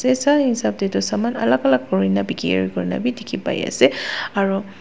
Etu sah hesab dae tuh saman alak alak kurina bekeri kurena dekhe pai ase aro--